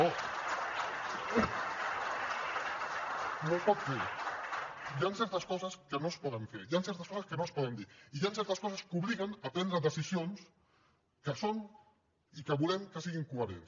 no es pot fer hi han certes coses que no es poden fer hi han certes coses que no es poden dir i hi han certes coses que obliguen a prendre decisions que són i que volem que siguin coherents